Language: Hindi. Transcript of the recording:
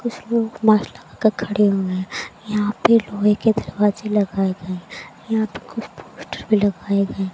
कुछ लोग लगाकर खड़े हुए हैं यहां पे लोहे के दरवाजे लगाए गए हैं यहां पे कुछ पोस्टर भी लगाये गए--